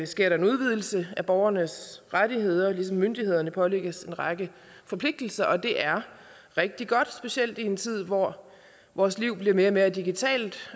sker der en udvidelse af borgernes rettigheder ligesom myndighederne pålægges en række forpligtelser det er rigtig godt specielt i en tid hvor vores liv bliver mere og mere digitalt